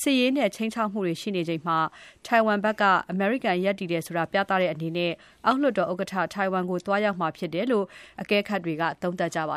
စစ်ရေးနဲ့ ခြိမ်းခြောက်မှုတွေရှိနေချိန်မှာ ထိုင်ဝမ်ဘက်က အမေရိကန်ဘက်က ရပ်တည်တယ်ဆိုတာ ပြသတဲ့အနေနဲ့ အောက်လွှတ်တော်ဥက္ကဋ္ဌ ထိုင်ဝမ်ကို သွားရောက်မှာဖြစ်တယ်လို့ အကဲခတ်တွေက သုံးသပ်နေပါ